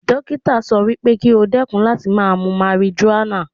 Dókítà sọ fún pé kí ó dẹ́kun láti máa mu marijuana.